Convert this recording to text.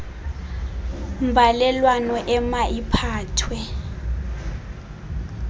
mbalelwano ema iphathwe